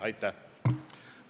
Aitäh!